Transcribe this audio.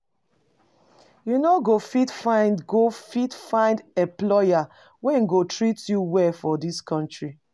You no go fit find go fit find employer wey go treat you well for dis country.